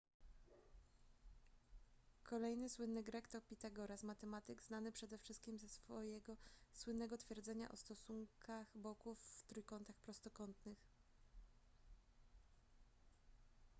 kolejny słynny grek to pitagoras matematyk znany przede wszystkim ze swojego słynnego twierdzenia o stosunkach boków w trójkątach prostokątnych